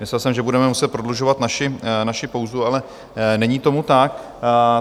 Myslel jsem, že budeme muset prodlužovat naši pauzu, ale není tomu tak.